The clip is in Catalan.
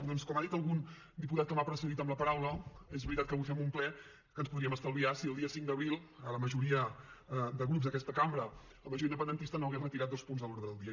doncs com ha dit algun diputat que m’ha precedit en la paraula és veritat que avui fem un ple que ens podríem haver estalviat si el dia cinc d’abril la majoria de grups d’aquesta cambra la majoria independentista no hagués retirat dos punts de l’ordre del dia